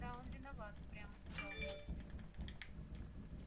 да он виноват упрямо сказал костя